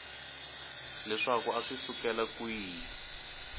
leswaku a swi sukela kwihi